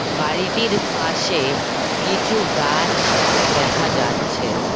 বাড়িটির পাশে কিছু গাছ দেখা যাচ্ছে।